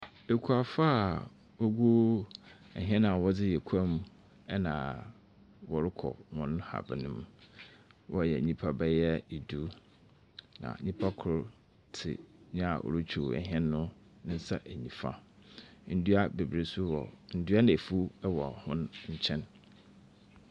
Ekuafo a wogu hɛn a wɔdze yɛ kua mu na wɔrokɔ hɔn haban mu. Wɔyɛ nyimpa bɛyɛ du, na nyimpa kor tse nyia orutwuw hɛn no ne nsa enyimfa. Ndua beberee so wɔ ndua na efuw wɔ hɔn nkyɛn.